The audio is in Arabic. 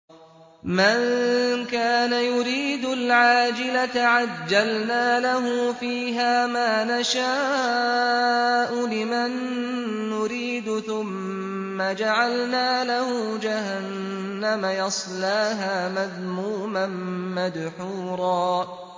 مَّن كَانَ يُرِيدُ الْعَاجِلَةَ عَجَّلْنَا لَهُ فِيهَا مَا نَشَاءُ لِمَن نُّرِيدُ ثُمَّ جَعَلْنَا لَهُ جَهَنَّمَ يَصْلَاهَا مَذْمُومًا مَّدْحُورًا